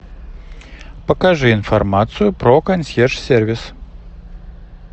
покажи информацию про консьерж сервис